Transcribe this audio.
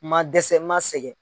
N ma dɛsɛ, n ma sɛgɛn